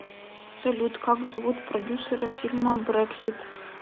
салют как зовут продюсера фильма брексит